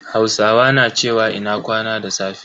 Hausawa na cewa "Ina kwana" da safe.